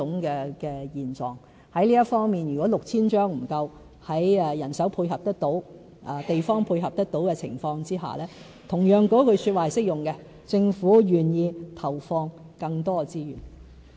在這方面，如果 6,000 張服務券不足夠，在人手配合得到、地方配合得到的情況下，同樣那句說話是適用的——政府願意投放更多資源。